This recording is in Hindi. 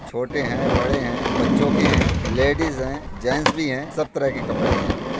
छोटे हैं बड़े हैं बच्चों के हैंलेडिज हैं जैंट्स भी हैं सब तरह के कपड़े हैं यहाँ पर।